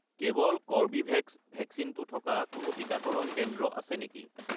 কেৱল কৰ্বীভেক্স ভেকচিনটো থকা কোনো টিকাকৰণ কেন্দ্ৰ আছে নেকি?